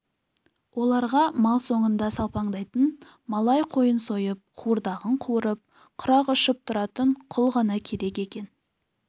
оларға мал соңында салпаңдайтын малай қойын сойып қуырдағын қуырып құрақ ұшып тұратын құл ғана керек екен